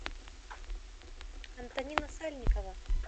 антонина сальникова